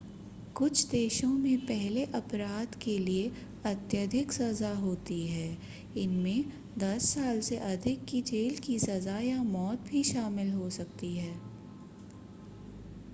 कुछ देशों में पहले अपराध के लिए अत्यधिक सज़ा होती है इनमें 10 साल से अधिक की जेल की सज़ा या मौत भी शामिल हो सकती है